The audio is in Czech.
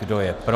Kdo je pro?